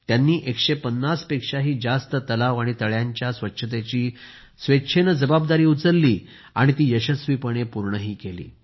त्यांनी 150 पेक्षा जास्त तलाव तळ्यांच्या स्वच्छतेची जबाबदारी उचलली आणि ती यशस्वीपणे पूर्णही केली